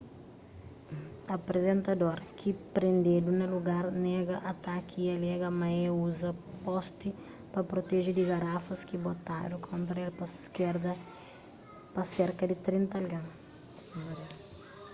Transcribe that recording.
aprizentador ki prendedu na lugar nega ataki y alega ma é uza posti pa proteje di garafas ki botadu kontra el pa serka di trinta algen